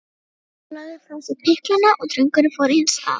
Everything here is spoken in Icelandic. Jóra lagði frá sér pinklana og drengurinn fór eins að.